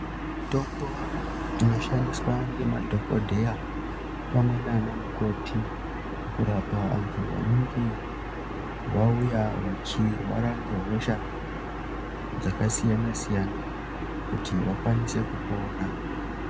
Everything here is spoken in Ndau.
Mitombo inoshandiswa ngemadhokodheya pamwe nanamukoti kurapa antu anenge auya achirwara ngehosha dzakasiyana siyana kuti vakwanise kupora.